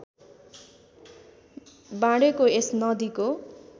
बाँडेको यस नदीको